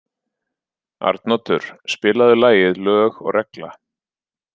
Arnoddur, spilaðu lagið „Lög og regla“.